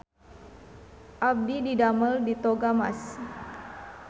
Abdi didamel di Toga Mas